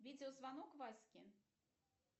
видеозвонок ваське